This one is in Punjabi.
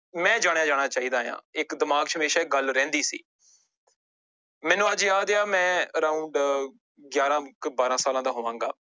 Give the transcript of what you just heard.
ਮੈਂ ਜਾਣਿਆ ਜਾਣਾ ਚਾਹੀਦਾ ਆਂ, ਇੱਕ ਦਿਮਾਗ ਚ ਹਮੇਸ਼ਾ ਇੱਕ ਗੱਲ ਰਹਿੰਦੀ ਸੀ ਮੈਨੂੰ ਅੱਜ ਯਾਦ ਹੈ ਮੈਂ around ਗਿਆਰਾਂ ਕੁ ਬਾਰਾਂ ਸਾਲਾਂ ਦਾ ਹੋਵਾਂਗਾ